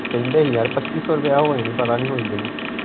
ਕਹਿੰਦੇ ਹੀ ਯਾਰ ਪਚੀ ਸ਼ੋ ਰੂਪਏ ਹੋ ਜਾਣੀ ਪਤਾ ਨਹੀ ਹੋਈ ਕ ਨਹੀਂ।